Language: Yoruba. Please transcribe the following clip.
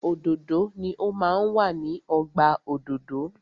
Òdòdó ni o máa ń wà ní ọgbà òdòdó.